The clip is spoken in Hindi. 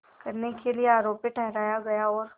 करने के लिए आरोपी ठहराया गया और